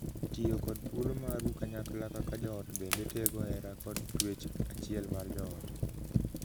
Tiyo kod thuolo maru kanyakla kaka joot bende tego hera kod twech achiel mar joot.